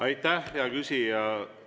Aitäh, hea küsija!